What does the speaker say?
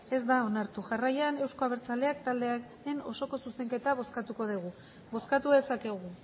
ez da onartu jarraian euzko abertzaleak taldearen osoko zuzenketa bozkatuko dugu bozkatu dezakegu